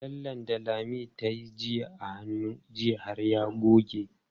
Lallen da Lami tayi a hannu jiya har ya goge.